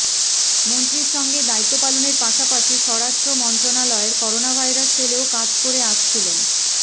মন্ত্রীর সঙ্গে দায়িত্ব পালনের পাশাপাশি স্বরাষ্ট্রমন্ত্রণালয়ের করোনাভাইরাস সেলেও কাজ করে আসছিলেন